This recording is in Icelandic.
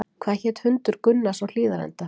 Hvað hét hundur Gunnars á Hlíðarenda?